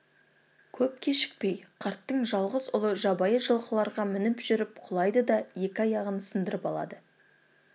көп кешікпей қарттың жалғыз ұлы жабайы жылқыларға мініп жүріп құлайды да екі аяғын сындырып алады